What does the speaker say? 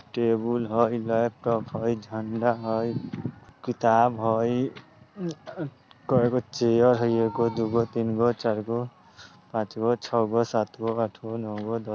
टेबुल हई लैपटॉप हई झंडा हई किताब हई अ-उ-कैगो चेयर हई एगो दू गो तीन गो चार गो पांच गो छौगो सात गो आठ गो नौ गो द --